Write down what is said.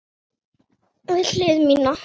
Við hlið mína.